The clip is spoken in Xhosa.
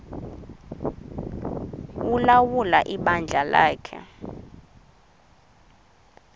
ulawula ibandla lakhe